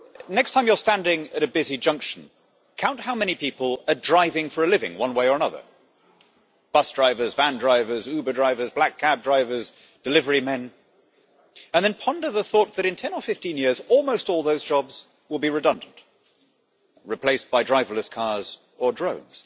Next time you're standing at a busy junction, count how many people are driving for a living, one way or another bus drivers, van drivers, Uber drivers, black cab drivers and delivery men and then ponder the thought that, in 10 or 15 years, almost all those jobs will be redundant replaced by driverless cars or drones.